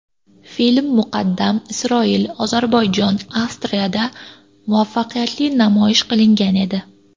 Film muqaddam Isroil, Ozarbayjon, Avstriyada muvaffaqiyatli namoyish qilingan edi.